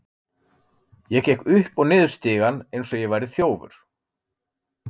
Ég gekk upp og niður stigann eins og ég væri þjófur.